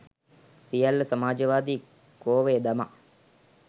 සියල්ල සමාජවාදී කෝවේ දමා